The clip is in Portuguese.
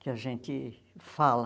que a gente fala.